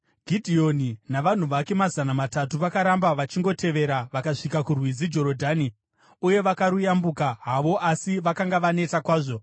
Gidheoni navanhu vake mazana matatu, vakaramba vachingotevera, vakasvika kurwizi Jorodhani uye vakaruyambuka havo, asi vakanga vaneta kwazvo.